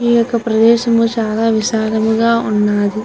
ఈ యొక్క ప్రదేశము చాలా విశాలంగా ఉన్నది.